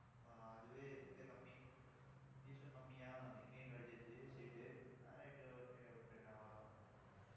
ஆஹ் அதுவே இருக்கறதுல கம்மி fees உம் கம்மியா இங்கேயும் கிடைச்சிருச்சு seat உ. right okay விட்டுட்டேன் அவ்வளவுதான்